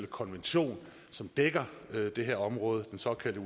konvention som dækker det her område den såkaldte